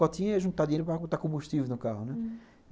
Cotinha é juntar dinheiro para botar combustível no carro, né? hum.